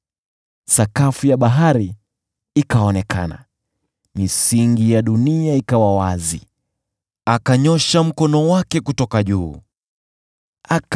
Mabonde ya bahari yalifunuliwa, na misingi ya dunia ikawa wazi kwa kukaripia kwako, Ee Bwana , kwa uvumi wa pumzi kutoka puani mwako.